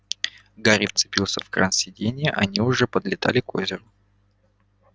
гарри вцепился в кран сиденья они уже подлетали к озеру